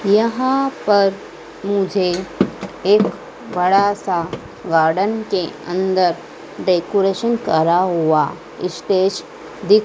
यहां पर मुझे एक बड़ा सा गार्डन के अंदर डेकोरेशन करा हुआ इस्टेज दिख--